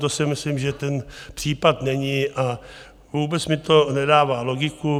To si myslím, že ten případ není a vůbec mi to nedává logiku.